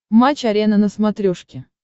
матч арена на смотрешке